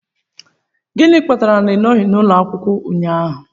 Gịnị kpatara na ị nọghị n'ụlọ akwụkwọ ụnyahụ?